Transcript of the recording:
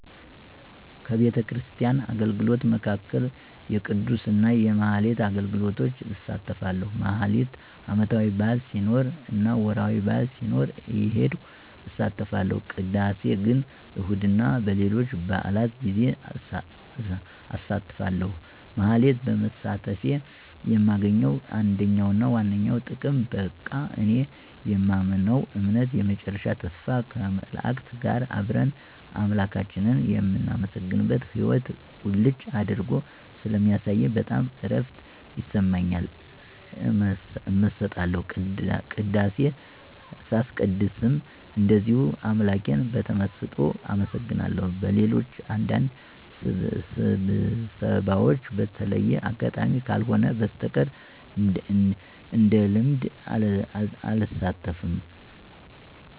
ከቤተክርስቲያን አገልግሎቶች መካከል የቅዳሴ እና የማኅሌት አገልግሎቶች እሳተፋለሁ። ማኅሌት ዓመታዊ በዓል ሲኖር እና ወርኃዊ በዓል ሲኖር እየሄድኩ እሳተፋለሁ። ቅዳሴ ግን እሁድ እና በሌሎች በዓላት ጌዜ አሳተፋለሁ። ማኅሌት በመሳተፌ የማገኘው አንደኛውና ዋነኛው ጥቅም በቃ እኔ የማምነውን እምነት የመጨረሻ ተስፋ ከመላእክት ጋር አብረን አምላካችንን የምናመሰግንበትን ሕይዎት ቁልጭ አድርጎ ስለሚያሳየኝ በጣም እረፍት ይሰማኛል። እመሰጣለሁ። ቅዳሴ ሳስቀድስም እንደዚሁ አምላኬን በተመሰጦ አመሰግነዋለሁ። በሌሎች አንዳንድ ስብሰባዎች በተለየ አጋጣሚ ካልሆነ በስተቀር እንደልምድ አልሳተፍም።